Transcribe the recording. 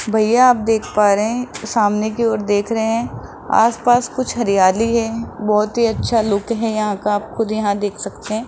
भैया आप देख पा रहे हैं सामने की ओर देख रहे हैं आस-पास कुछ हरियाली हैं बहोत ही अच्छा लुक हैं यहां का आप खुद यहां देख सकते हैं।